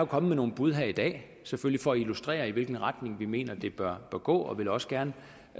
kommet med nogle bud her i dag for at illustrere i hvilken retning vi mener det bør gå og vil også gerne